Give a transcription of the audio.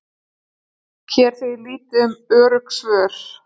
Hér er því lítið um örugg svör.